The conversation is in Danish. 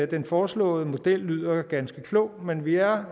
den foreslåede model lyder ganske klog men vi er